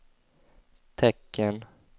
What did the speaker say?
tecken